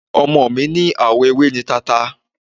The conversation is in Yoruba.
Ọmọ mi ní àwọ ewé ni tata.